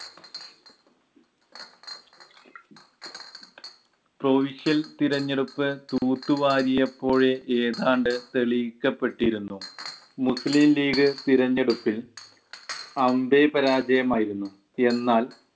crusial തിരഞ്ഞെടുപ്പ് തൂത്തുവാരിയപ്പോഴേ ഏതാണ്ട് തെളിയിക്കപ്പെട്ടിരുന്നു. മുസ്ലിം league തിരഞ്ഞെടുപ്പിൽ അമ്പേ പരാജയമായിരുന്നു എന്നാൽ